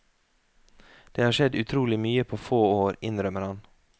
Det har skjedd utrolig mye på få år, innrømmer han.